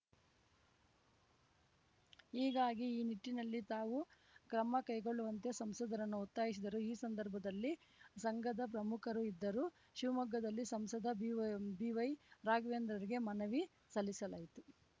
ಹೀಗಾಗಿ ಈ ನಿಟ್ಟಿನಲ್ಲಿ ತಾವು ಕ್ರಮ ಕೈಗೊಳ್ಳುವಂತೆ ಸಂಸದರನ್ನು ಒತ್ತಾಯಿಸಿದರು ಈ ಸಂದರ್ಭದಲ್ಲಿ ಸಂಘದ ಪ್ರಮುಖರು ಇದ್ದರು ಶಿವಮೊಗ್ಗದಲ್ಲಿ ಸಂಸದ ಬಿವೈ ಬಿವೈ ರಾಘವೇಂದ್ರರಿಗೆ ಮನವಿ ಸಲ್ಲಿಸಲಾಯಿತು